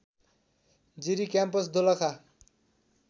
Jiri campus Dolakha